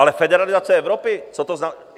Ale federalizace Evropy, co to znamená?